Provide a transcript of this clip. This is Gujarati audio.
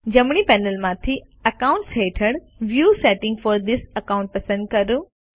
જમણી પેનલમાંથી અકાઉન્ટ્સ હેઠળ view settings for this account પસંદ કરો